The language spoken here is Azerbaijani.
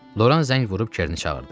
Loran zəng vurub Kerni çağırdı.